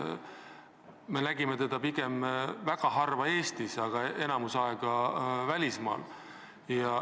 Me nägime teda pigem väga harva Eestis, enamiku aega oli ta välismaal.